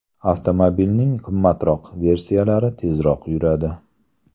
Avtomobilning qimmatroq versiyalari tezroq yuradi.